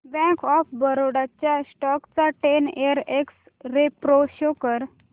bank of Baroda च्या stock चा ten year x ray pro show कर